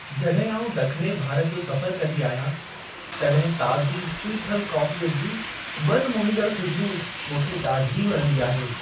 जॾहिं आउं ॾखणे भारत जो सफ़रु कंदी आहियां, तॾहिं ताज़ी पीठल कॉफ़ीअ जी मनु मोहींदड़ु ख़ूश्बूइ मूंखे ॾाढी वणंदी आहे।